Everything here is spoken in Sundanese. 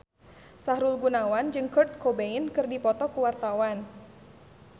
Sahrul Gunawan jeung Kurt Cobain keur dipoto ku wartawan